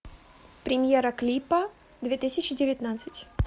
премьера клипа две тысячи девятнадцать